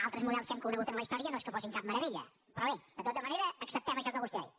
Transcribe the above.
altres models que hem conegut en la història no és que fossin cap meravella però bé de tota manera acceptem això que vostè ha dit